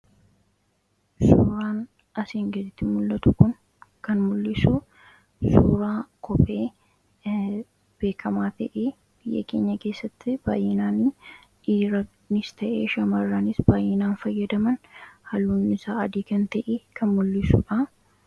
Suuraan asiin gaditti mul'atu kun kan mul'isu suuraa kophee beekamaa ta'ii biyya keenya keessatti baayyinaan dhiranis ta'ee shamarraanis baayyinaan fayyadaman haluun isaa adii kan ta'ii kan mul'isuudha.